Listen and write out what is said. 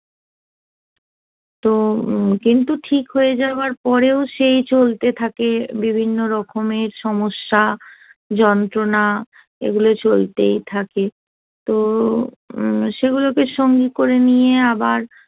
তো কিন্তু ঠিক হয়ে যাবার পরেও সেই চলতে থাকে বিভিন্ন রকমের সমস্যা যন্ত্রণা এগুলো চলতেই থাকে তো সেগুলোকে সঙ্গে করে নিয়ে আবার